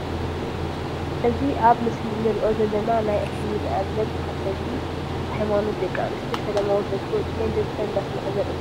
እዚ ኣብ ምስሊ ንርኦ ዘለና ናይ እስልምና እምነት ተከተልቲ ሃይማኖት ደቂ ኣንስትዮ ሰለማዊ ሰልፊ ወፂኤን ድምፀን እንዳስማዓ ዘርኢ ምስሊ እዩ።